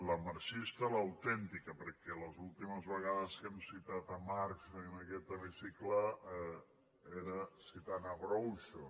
la marxista l’autèntica perquè les últi·mes vegades que hem citat marx en aquest hemicicle era citant groucho